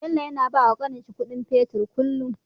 Bello yAna bawa kanin shi Ƙudin fetir kullun